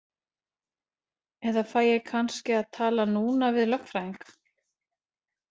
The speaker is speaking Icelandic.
Eða fæ ég kannski að tala núna við lögfræðing?